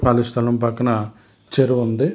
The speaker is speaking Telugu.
ఖాళీ స్థలం పక్కన చెరువు ఉంది.